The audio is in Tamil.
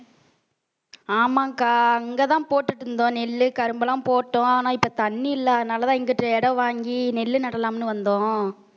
ஆமாக்கா அங்கதான் போட்டுட்டு இருந்தோம் நெல்லு கரும்பு எல்லாம் போட்டோம் ஆனா இப்ப தண்ணி இல்லா தனாலதான் இங்கிட்டு இடம் வாங்கி நெல்லு நடலாம்னு வந்தோம்